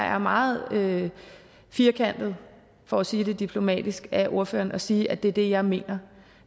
er meget firkantet for at sige det diplomatisk af ordføreren at sige at det er det jeg mener